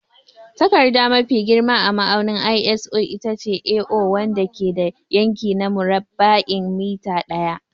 Takarda mafi girma a ma'aunin ISO itace A0, wanda ke da yanki na murabba'in mita ɗaya.